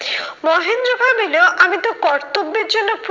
মহেন্দ্র ভাবিলো আমি তো কর্তব্যের জন্য